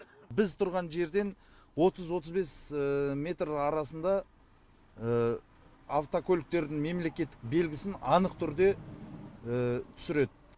біз тұрған жерден отыз отыз бес метр арасында автокөліктердің мемлекеттік белгісін анық түрде түсіреді